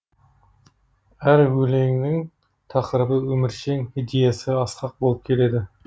әр өлеңінің тақырыбы өміршең идеясы асқақ болып келеді